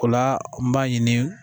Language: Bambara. O la n b'a ɲini